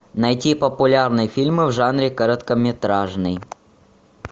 найти популярные фильмы в жанре короткометражный